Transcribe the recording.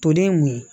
Toden mun ye